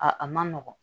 A a man nɔgɔn